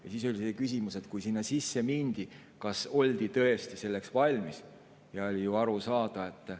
On küsimus, kas siis, kui sinna sisse mindi, oldi tõesti selleks valmis.